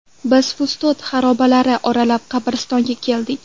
Biz Fustot xarobalari oralab qabristonga keldik.